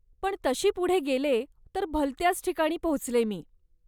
पण तशी पुढे गेले, तर भलत्याच ठिकाणी पोहोचले मी.